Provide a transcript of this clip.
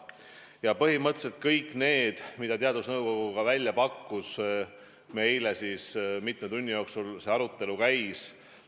Ja põhimõtteliselt kõigi nende meetmete üle, mis teadusnõukogu välja pakkus, meil eile mitme tunni jooksul arutelu käis.